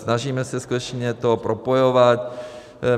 Snažíme se skutečně to propojovat.